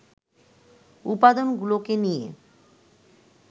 উপাদানগুলোকে নিয়ে